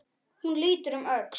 Hún lítur um öxl.